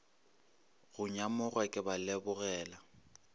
go nyamoga ke ba lebogela